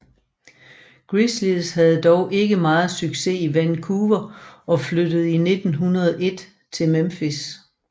Grizzlies havde dog ikke meget succes i Vancouver og flyttede i 2001 til Memphis